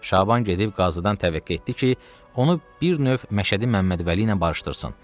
Şaban gedib qazıdan təvəqqə etdi ki, onu bir növ Məşədi Məmməd Vəli ilə barışdırsın.